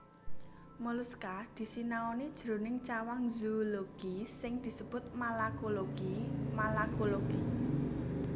Moluska disinaoni jroning cawang zoologi sing disebut malakologi malacology